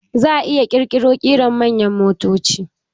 Za a ƙirƙiro ƙarin manyan motoci